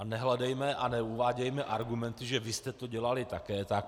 A nehledejme a neuvádějme argumenty, že vy jste to dělali také tak.